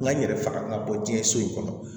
N ka n yɛrɛ faga ka bɔ diɲɛ so in kɔnɔ